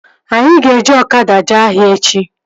Anyị ga-eji ọkada jee ahịa echi